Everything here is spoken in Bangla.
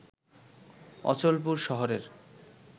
অচলপুর শহরের